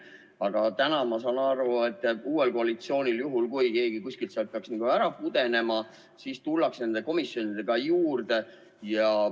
Aga täna ma saan aru, et uuel koalitsioonil, juhul kui keegi kuskilt peaks nagu ära pudenema, on plaan komisjonidesse kedagi juurde panna.